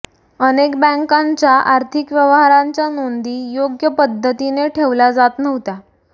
अनेक बँकांच्या आर्थिक व्यवहारांच्या नोंदी योग्य पध्दतीने ठेवल्या जात नव्हत्या